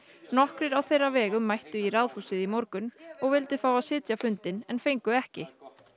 nokkrir á þeirra vegum mættu í Ráðhúsið í morgun og vildu fá að sitja fundinn en fengu ekki